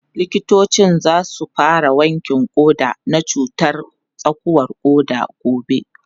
Likitocin za su fara wankin ƙoda na cutar tsakuwar ƙoda gobe